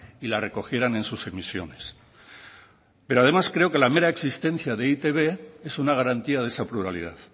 y la recogieran en sus emisiones pero además creo que la mera existencia de e i te be es una garantía de esa pluralidad